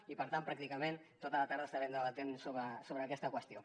i per tant pràcticament tota la tarda estarem debatent sobre aquesta qüestió